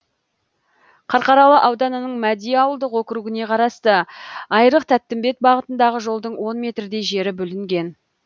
қарқаралы ауданының мәди ауылдық округіне қарасты айрық тәттімбет бағытындағы жолдың он метрдей жері бүлінген